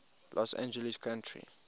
los angeles county